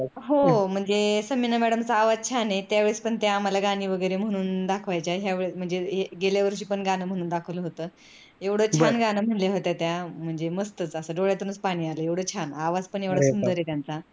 हो म्हणजे समीना madam चा आवाज छान आहे त्यावेळेस पण आम्हाला गुणी वगैरे म्हणून दाखवायच्या गेल्यावर्षी पण गान म्हणून दाखवलं होत एवढ छान गान म्हणल्या होत्या त्या म्हणजे मस्त च अस डोळ्यातूनच पाणी आल आवाज पण एवढा सुंदर आहे त्यांचा.